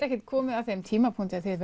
ekki komið að þeim tímapunkti að þið